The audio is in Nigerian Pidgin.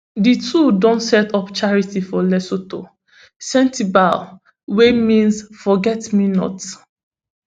di two don set up charity for lesotho sentebale wey mean forget me not